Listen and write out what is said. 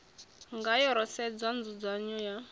ngayo ro sedza nzudzanyo ya